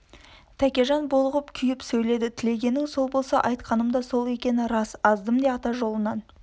тәкежан булығып күйіп сөйледі тілегенің сол болса айтқаным да сол екені рас аздым де ата жолынан